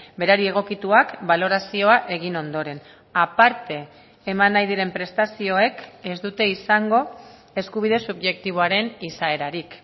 berari egokituak balorazioa egin ondoren aparte eman nahi diren prestazioek ez dute izango eskubide subjektiboaren izaerarik